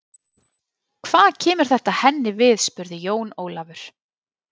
Hvað kemur þetta henni við spurði Jón Ólafur.